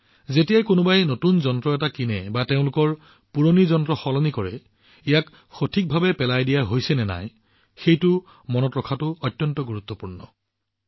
যেতিয়াই কোনোবাই নতুন ডিভাইচ এটা ক্ৰয় কৰে বা কোনোবা এজনৰ পুৰণি ডিভাইচ সলনি কৰে ইয়াক সঠিকভাৱে পেলাই দিয়া হয় নে নহয় মনত ৰখাটো প্ৰয়োজন